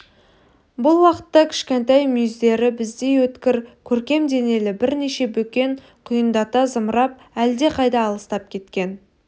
бұл уақытта кішкентай мүйіздері біздей өткір көркем денелі бірнеше бөкен құйындата зымырап әлдеқайда алыстап кеткен